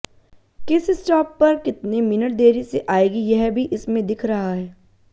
किस स्टाप पर कितने मिनट देरी से आएगी यह भी इसमें दिख रहा है